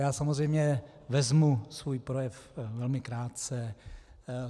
Já samozřejmě vezmu svůj projev velmi krátce.